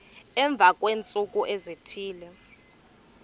emva kweentsuku ezithile